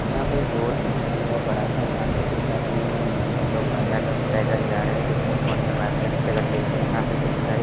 यहां पे एक रोड दिखाई दे रहा है बड़ा सा यहां पे कुछ आदमी लोग बंदा लोग पैदल जा रहा है कुछ फोन में बात करते-करते जा रे है यहां पे कुछ सारे --